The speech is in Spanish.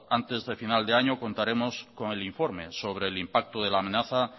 antes de final de año contaremos con el informe sobre el impacto de la amenaza